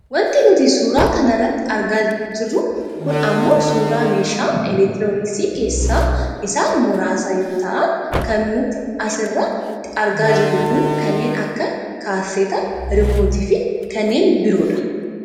Wanti nuti suuraa kana irratti argaa jirru kun ammoo suuraa meeshaa elektirooniksi keessaa isaan muraasa yoo ta'an kan nuti as irratti argaa jirru kun kanneen akka kaasettaa, riimootiifi kanneen biroodha